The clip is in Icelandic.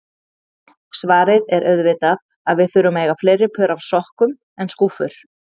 Svarið er auðvitað að við þurfum að eiga fleiri pör af sokkum en skúffur.